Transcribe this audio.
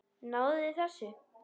Náðuð þið þessu?